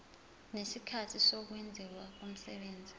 nesikhathi sokwenziwa komsebenzi